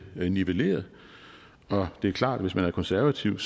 nivelleret og det er klart at hvis man er konservativ